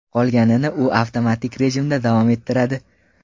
Qolganini u avtomatik rejimda davom ettiradi.